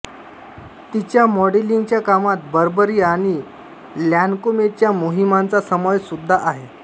तिच्या मॉडेलिंगच्या कामात बर्बेरी आणि लॅन्कोमेच्या मोहिमांचा समावेश सुद्दा आहे